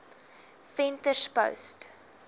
venterspost